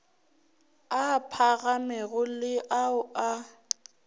a phagamego le ao a